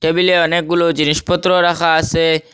টেবিলে অনেকগুলো জিনিসপত্র রাখা আছে।